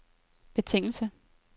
betingelse